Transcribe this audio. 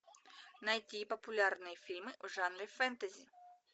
найти популярные фильмы в жанре фэнтези